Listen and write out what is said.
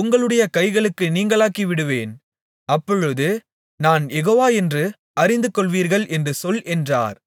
உங்களுடைய கைகளுக்கு நீங்கலாக்கிவிடுவேன் அப்பொழுது நான் யெகோவா என்று அறிந்துகொள்வீர்கள் என்று சொல் என்றார்